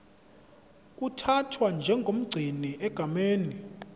uthathwa njengomgcini egameni